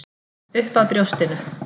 Upp að brjóstinu.